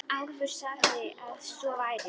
Álfur sagði að svo væri.